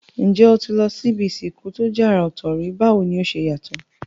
N jé o ti lo si ibi ìsìnkú to je àrà òtò rí, báwoni o se yàtò?